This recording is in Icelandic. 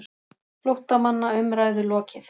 FLÓTTAMANNA UMRÆÐU LOKIÐ